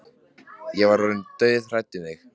Ég var orðin dauðhrædd um þig,